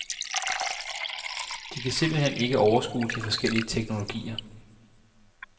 De kan simpelt hen ikke overskue de forskellige teknologier.